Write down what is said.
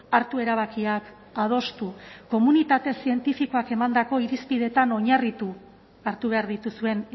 hartu erabakiak adostu komunitate zientifikoak emandako irizpideetan oinarritu hartu behar dituzuen